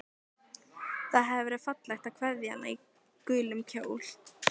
Það hafði verið fallegt að kveðja hana í gulum kjól.